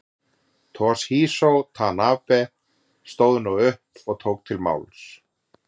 Toshizo Tanabe stóð nú upp og tók til máls.